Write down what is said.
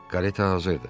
Kareta hazırdır.